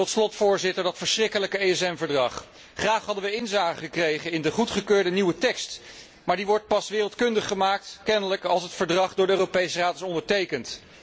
Tot slot, Voorzitter, dat verschrikkelijke ESM Verdrag. Graag hadden wij inzage gekregen in de goedgekeurde nieuwe tekst, maar die wordt kennelijk pas wereldkundig gemaakt als het verdrag door de Europese Raad is ondertekend.